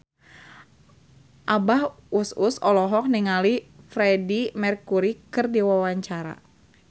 Abah Us Us olohok ningali Freedie Mercury keur diwawancara